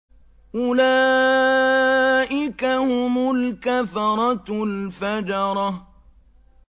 أُولَٰئِكَ هُمُ الْكَفَرَةُ الْفَجَرَةُ